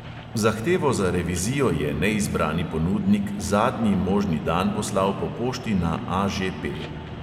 Zahtevo za revizijo je neizbrani ponudnik zadnji možni dan poslal po pošti na AŽP.